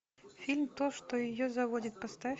фильм то что ее заводит поставь